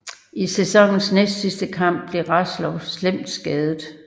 I sæsonens næstsidste kamp blev Roslovs slemt skadet